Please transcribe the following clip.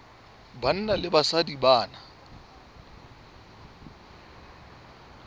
banna le basadi ba na